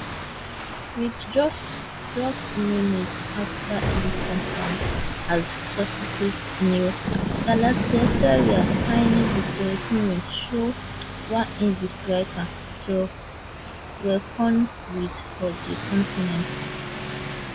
wit just just minutes afta e come on as substitute new Galatasaray signing victor osimhen show why im be striker to reckon wit for di continent